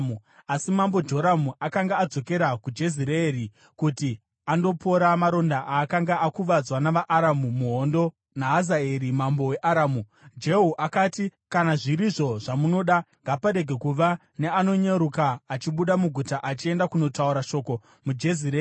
Asi mambo Joramu akanga adzokera kuJezireeri kuti andopora maronda aakanga akuvadzwa navaAramu muhondo naHazaeri, mambo weAramu.) Jehu akati, “Kana zviri izvo zvamunoda, ngaparege kuva neanonyeruka achibuda muguta achienda kunotaura shoko muJezireeri.”